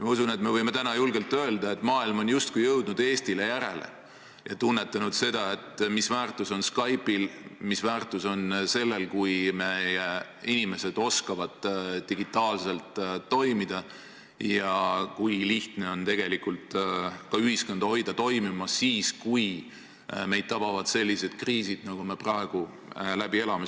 Ma usun, et me võime täna julgelt öelda, et maailm on justkui jõudnud Eestile järele ja tunnetanud seda, mis väärtus on Skype'il, mis väärtus on sellel, kui meie inimesed oskavad digitaalselt toimida ning kui lihtne on tegelikult hoida ühiskonda toimimas siis, kui meid tabavad sellised kriisid, nagu me praegu läbi elame.